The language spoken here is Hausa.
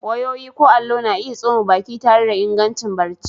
Wayoyi ko allo, na iya tsoma baki tare da ingancin barci.